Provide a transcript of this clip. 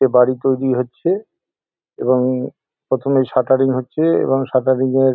বাড়ি তৈরী হচ্ছে এবং প্রথমে স্যাটার্রিং হচ্ছে এবং স্যাটার্রিং এর।